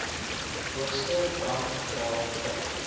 hoogste brandgevaar vind